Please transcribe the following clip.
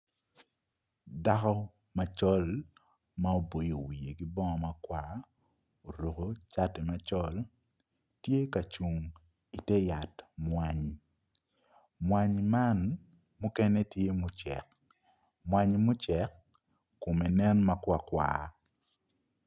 Dako macol ma oboyo wiye ki bongo makwar oruko cati macol tye ka cung ite yat mwayi, mwanyi man mukene tye mucek mwanyi mucek kome nen makwar kwar